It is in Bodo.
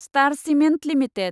star cement limited